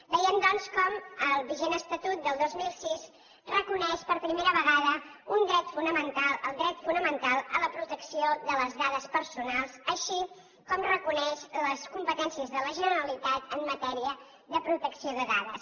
veiem doncs com el vigent estatut del dos mil sis reconeix per primera vegada un dret fonamental el dret fonamental a la protecció de les dades personals així com reconeix les competències de la generalitat en matèria de protecció de dades